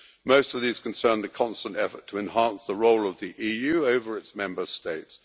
Most of these concern the constant effort to enhance the role of the EU over its Member States.